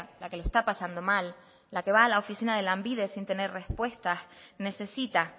la que lo está pasando mal la que va a la oficina de lanbide sin tener respuestas necesita